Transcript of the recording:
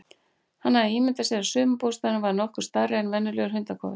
Hann hafði ímyndað sér að sumarbústaðurinn væri nokkuð stærri en venjulegur hundakofi.